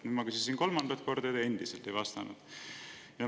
Nüüd ma küsisin kolmandat korda, kuna te endiselt ei vastanud.